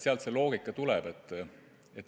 Sealt see loogika tuleb.